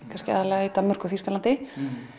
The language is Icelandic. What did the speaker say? kannski aðallega í Danmörku og í Þýskalandi